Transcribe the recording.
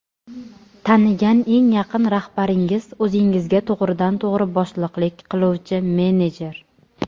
Tanigan eng yaqin rahbaringiz o‘zingizga to‘g‘ridan to‘g‘ri boshliqlik qiluvchi menejer.